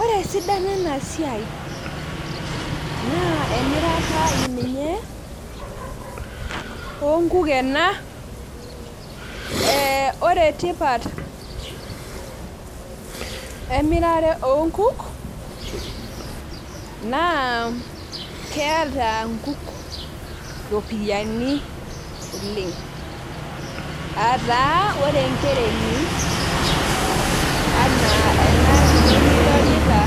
Ore esidano enasiai naa emirata ninye onkuk ena , ee ore tipat emirare onkuk naa keeta nkuk ropiyiani oleng , aataa ore enkereni anaa enakiti nidolita